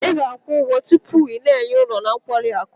Ị ga-akwụ ụgwọ tupu ị na-enye ụlọ na nkwari akụ.